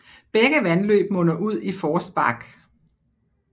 Begge vandløb munder ud i Forstbach